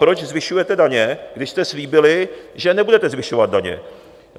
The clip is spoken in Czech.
Proč zvyšujete daně, když jste slíbili, že nebudete zvyšovat daně?